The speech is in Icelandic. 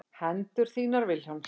Hendur þínar Vilhjálms.